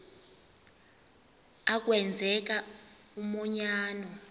a kwenzeka umanyano